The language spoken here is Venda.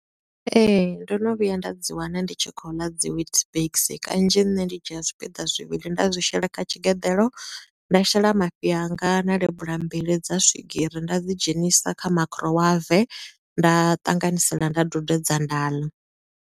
Ee, ndo no vhuya nda dzi wana ndi tshi khou ḽa dzi witbix, kanzhi nṋe ndi dzhia zwipiḓa zwivhili nda zwi shela kha tshigeḓelo, nda shela mafhi a nga na lebula mbili dza swigiri, nda dzi dzhenisa kha makhurowave, nda ṱanganisela, nda dudedza, nda ḽa.